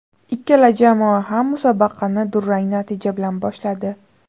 Ikkala jamoa ham musobaqani durang natija bilan boshladi.